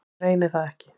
Reyni það ekki.